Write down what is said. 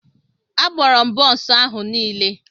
Agbụrụ m bonsu ahu niile.